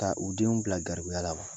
ka u denw bila garibuya la wa?